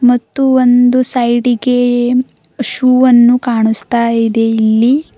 ಮತ್ತು ಒಂದು ಸೈಡಿಗೇ ಶೂ ಅನ್ನು ಕಾಣಿಸ್ತಾ ಇದೆ ಇಲ್ಲಿ.